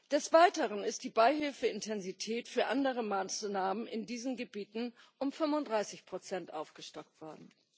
Des Weiteren ist die Beihilfeintensität für andere Maßnahmen in diesen Gebieten um 35 aufgestockt worden.